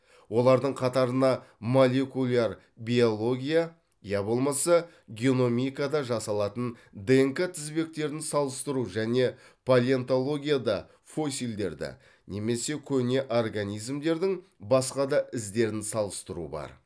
олардың қатарына молекуляр биология я болмаса геномикада жасалатын днк тізбектерін салыстыру және палеонтологияда фосилдерді немесе көне организмдердің басқа да іздерін салыстыру бар